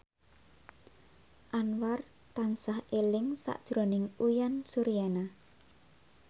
Anwar tansah eling sakjroning Uyan Suryana